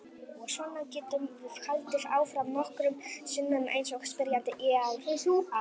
Og svona getum við haldið áfram nokkrum sinnum eins og spyrjandi ýjar að.